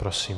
Prosím.